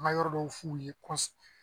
An ka yɔrɔ dɔw f'u ye